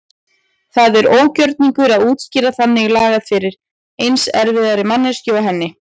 Það er ógjörningur að útskýra þannig lagað fyrir eins erfiðri manneskju og henni.